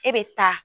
E bɛ taa